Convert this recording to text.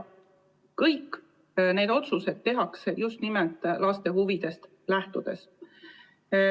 Kõik need otsused tehakse just nimelt laste huvidest lähtudes.